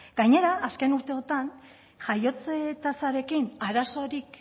gainera azken urteotan jaiotze tasarekin arazorik